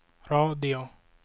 radio